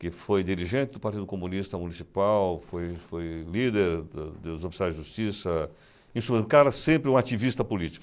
que foi dirigente do Partido Comunista Municipal, foi foi líder do dos oficiais de Justiça, em sua cara sempre um ativista político.